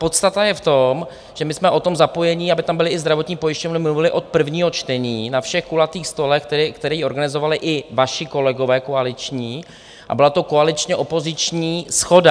Podstata je v tom, že my jsme o tom zapojení, aby tam byly i zdravotní pojišťovny, mluvili od prvního čtení, na všech kulatých stolech, které organizovali i vaši kolegové koaliční, a byla to koaličně opoziční shoda.